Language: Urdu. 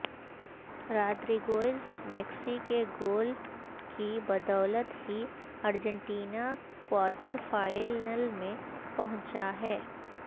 رادریگوئز میکسی کے گول کی بدولت ہی ارجنٹینا کوارٹر فائنل میں پہنچا ہے